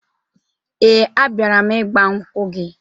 Ee, abịara m ịgbankwụ gị